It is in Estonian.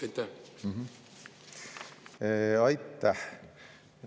Aitäh!